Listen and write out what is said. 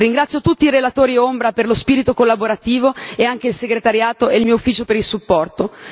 Ringrazio tutti i relatori ombra per lo spirito collaborativo e anche la segreteria e il mio ufficio per il sostegno.